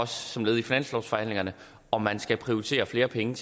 som led i finanslovsforhandlingerne om man skal prioritere flere penge